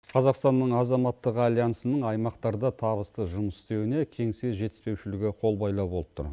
қазақстанның азаматтығы альянсының аймақтарда табысты жұмыс істеуіне кеңсе жетіспеушілігі қол байлау болып тұр